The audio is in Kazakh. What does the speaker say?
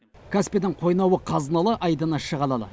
каспийдің қойнауы қазыналы айдыны шағалалы